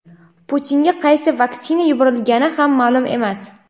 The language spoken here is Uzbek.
Putinga qaysi vaksina yuborilgani ham ma’lum emas.